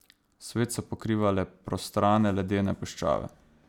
Svet so pokrivale prostrane ledene puščave.